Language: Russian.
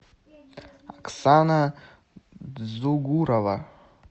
оксана дзугурова